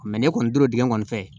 ne kɔni tora dingɛ kɔnɔ